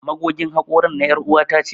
Magogin hakorin na er'uwa ta ce.